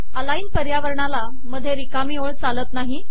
align पर्यावरणाला मधे रिकामी ओळ चालत नाही